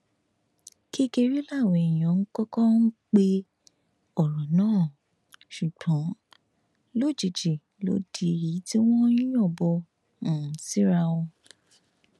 kékeré làwọn èèyàn kọkọ um pe ọrọ náà ṣùgbọn lójijì ló di èyí tí wọn ń yọbọn um síra wọn